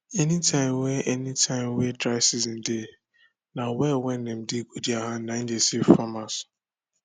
any tim wen any tim wen dry season dey na well wen dem dig wit hand nai dey save farmers